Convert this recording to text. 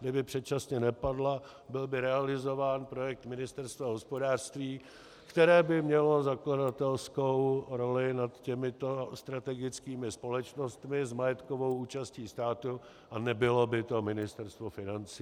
Kdyby předčasně nepadla, byl by realizován projekt Ministerstva hospodářství, které by mělo zakladatelskou roli nad těmito strategickými společnostmi s majetkovou účastí státu, a nebylo by to Ministerstvo financí.